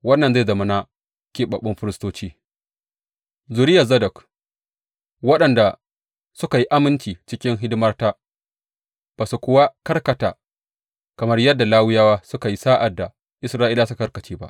Wannan zai zama na keɓaɓɓun firistoci, zuriyar Zadok, waɗanda suka yi aminci cikin hidimata ba su kuwa karkata kamar yadda Lawiyawa suka yi sa’ad da Isra’ilawa suka karkace ba.